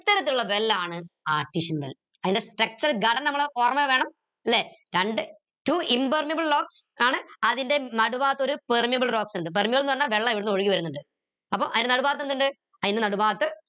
ഇത്തരത്തിലുള്ള well ആണ് artesian well അതിന്റെ structure ഘടന നമ്മളെ ഓർമയിൽ വേണം ല്ലെ കണ്ട് two impermeable rocks ആണ് അതിന്റെ നാട് ഭാഗത്ത് ഒരു permeable rocks ഇണ്ട് permeable ന്ന് പറഞ്ഞ വെള്ളം ഇവിടുന്ന് ഒഴുകി വരുന്നിണ്ട് അപ്പൊ അയിന്റെ നടു ഭാഗത്ത് എന്തിണ്ട് അയിന്റെ നടു ഭാഗത്ത്